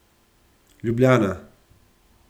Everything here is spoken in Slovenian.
Ljubljana.